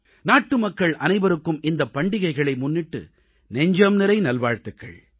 நாட்டுமக்கள் அனைவருக்கும் இந்தப் பண்டிகைகளை முன்னிட்டு நெஞ்சம்நிறை நல்வாழ்த்துகள்